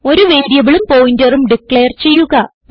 ഒരു വേരിയബിളും പോയിന്ററും ഡിക്ലയർ ചെയ്യുക